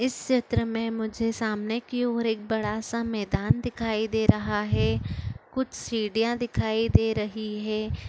इस चित्र में मुझे सामने की ओर एक बड़ा सा मैदान दिखाई दे रहा है कुछ सीढ़ियाँ दिखाई दे रही है।